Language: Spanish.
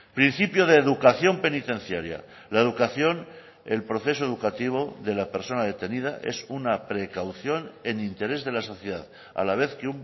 principio de educación penitenciaria la educación el proceso educativo de la persona detenida es una precaución en interés de la sociedad a la vez que